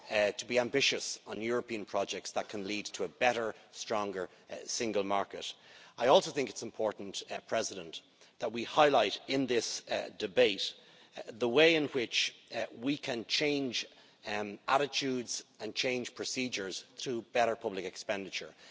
to be ambitious on European projects that can lead to a better, stronger single market. I also think it's important that we highlight in this debate the way in which we can change attitudes and change procedures through better public expenditure.